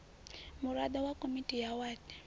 muraḓo wa komiti ya wadi